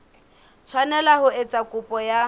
tshwanela ho etsa kopo ya